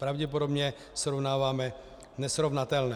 Pravděpodobně srovnáváme nesrovnatelné.